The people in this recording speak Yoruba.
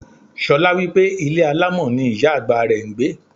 Ṣolá wípé ilé alámọ̀ ni ìyá àgbà rẹ̀ ń gbé.